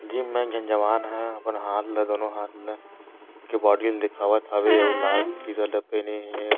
Gym में एक झन जवान हे अपन हाथ ला दोनों हाथ ला के बॉडी ला दिखावत हवे अउ लाल के टी -शर्ट ला पेहने हे।